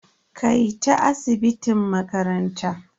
Kai ta asibitin makaranta.